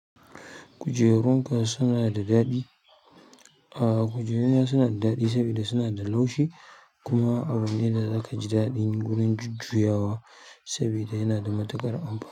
Kujerunka suna da daɗi? A'a kujeruna suna da daɗi sabida suna da laushi kuma abu ne da zaka ji daɗin wurin jujjuyawa sabida yana da matuƙar amfani.